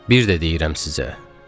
Bir də deyirəm sizə.